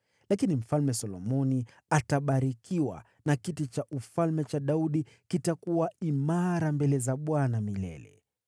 Lakini Mfalme Solomoni atabarikiwa, na kiti cha ufalme cha Daudi kitakuwa imara mbele za Bwana milele.”